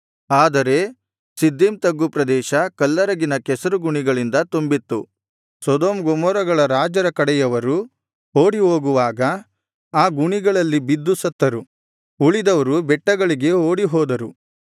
ಆದರೆ ಸಿದ್ದೀಮ್ ತಗ್ಗು ಪ್ರದೇಶ ಕಲ್ಲರಗಿನ ಕೆಸರುಗುಣಿಗಳಿಂದ ತುಂಬಿತ್ತು ಸೊದೋಮ್ ಗೊಮೋರಗಳ ರಾಜರ ಕಡೆಯವರು ಓಡಿಹೋಗುವಾಗ ಆ ಗುಣಿಗಳಲ್ಲಿ ಬಿದ್ದು ಸತ್ತರು ಉಳಿದವರು ಬೆಟ್ಟಗಳಿಗೆ ಓಡಿಹೋದರು